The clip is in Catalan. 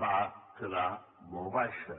va quedar molt baixa